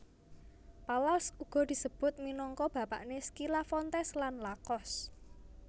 Palals uga disebut minangka bapakné Skilla Fontes lan Lakos